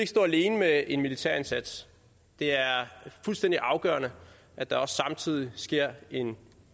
stå alene med en militærindsats det er fuldstændig afgørende at der også samtidig sker en